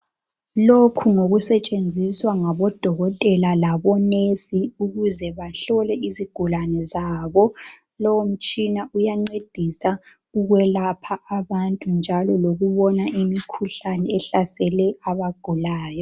Lokhu ngokusetshenziswa ngabodokotela labonesi ukuze bahlole izigulane zabo. Lo mutshina uyancedisa ukwelapha abantu njalo lokubona imikhuhlane ehlasele abagulayo.